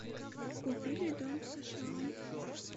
купили дом в сша